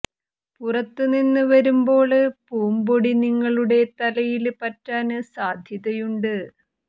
പുറത്ത് നിന്ന് വരുമ്പോള് പൂമ്പൊടി നിങ്ങളുടെ തലയില് പറ്റാന് സാധ്യതയുണ്ട്